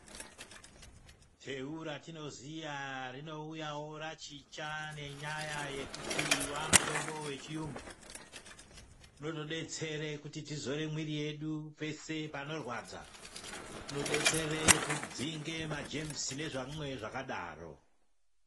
Teu ratinoziya rinouyawo rachicha ngenyaa yekuti wamutombo wechiyungu inotodetsere kuti tizore mwiri yedu peshe panorwadza inodetsere kudzinge majemusi nezvimwe zvakadaro.